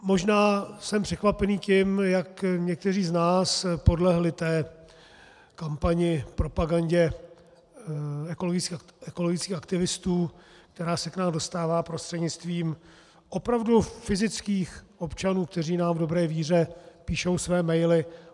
Možná jsem překvapený tím, jak někteří z nás podlehli kampani a propagandě ekologických aktivistů, která se k nám dostává prostřednictvím opravdu fyzických občanů, kteří nám v dobré víře píšou své maily.